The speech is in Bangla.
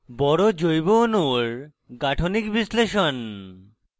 বড় জৈব অণুর গাঠনিক বিশ্লেষণ: